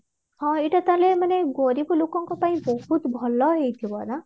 ହଁ ଏଇଟା ତାହେଲେ ମାନେ ଗରିବ ଲୋକଙ୍କ ପାଇଁ ବହୁତ ଭଲ ହେଇଥିବା ନାଁ